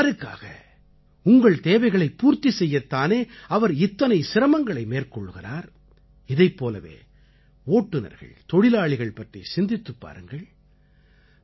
இவையெல்லாம் யாருக்காக உங்கள் தேவைகளைப் பூர்த்தி செய்யத் தானே அவர் இத்தனை சிரமங்களை மேற்கொள்கிறார் இதைப் போலவே ஓட்டுனர்கள் தொழிலாளிகள் பற்றி சிந்தித்துப் பாருங்கள்